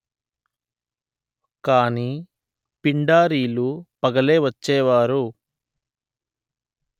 కాని పిండారీలు పగలే వచ్చేవారు